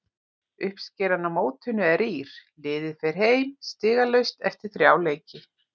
Uppskeran á mótinu er rýr, liðið fer heim stigalaust eftir þrjá leiki.